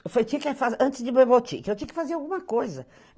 Eu tinha que fazer, antes de ir para o botique, eu tinha que fazer alguma coisa.